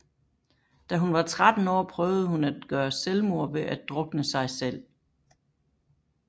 Da hun var tretten år prøvede hun at gøre selvmord ved at drukne sig selv